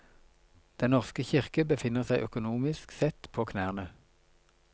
Den norske kirke befinner seg økonomisk sett på knærne.